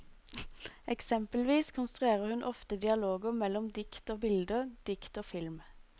Eksempelvis konstruerer hun ofte dialoger mellom dikt og bilder, dikt og film.